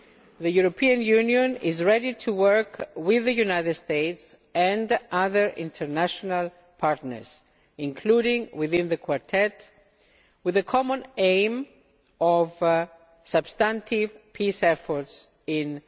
The European Union is ready to work with the United States and other international partners, including within the Quartet, with the common aim of substantive peace efforts in